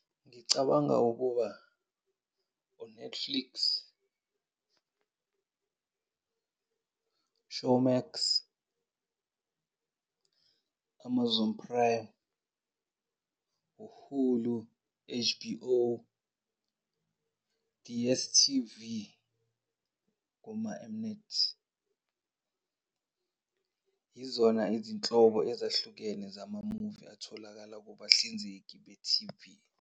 Ngicabanga ukuba u-Netflix, Showmax, Amazon Prime, u-Hulu, H_B_O, D_S_T_V, boma-M-NET. Yizona izinhlobo ezahlukene zama-movie atholakala kubahlinzeki be-T_V.